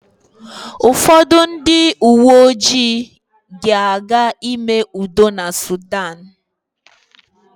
Ụfọdụ ndị uwe ojii ga-aga ime udo na Sudan.